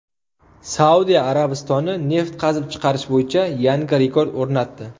Saudiya Arabistoni neft qazib chiqarish bo‘yicha yangi rekord o‘rnatdi.